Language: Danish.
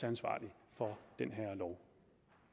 ansvarlig for den her lov